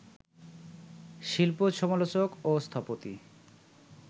শিল্প সমালোচক ও স্থপতি